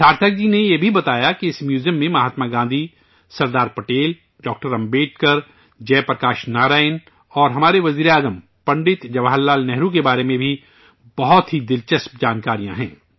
سارتھک جی نے یہ بھی بتایا کہ اس میوزیم میں مہاتما گاندھی، سردار پٹیل، ڈاکٹر امبیڈکر، جے پرکاش نارائن اور ہمارے وزیر اعظم پنڈت جواہر لال نہرو کے بارے میں بھی بہت ہی دلچسپ جانکاریاں ہیں